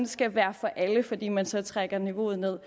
skal være for alle fordi man så trækker niveauet ned